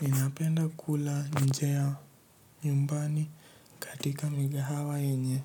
Inapenda kula nje ya nyumbani katika migahawa yenye,